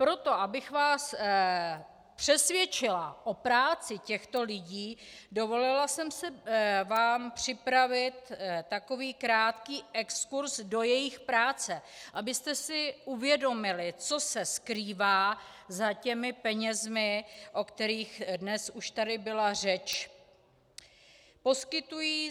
Proto, abych vás přesvědčila o práci těchto lidí, dovolila jsem si vám připravit takový krátký exkurz do jejich práce, abyste si uvědomili, co se skrývá za těmi penězi, o kterých dnes už tady byla řeč.